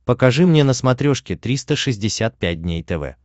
покажи мне на смотрешке триста шестьдесят пять дней тв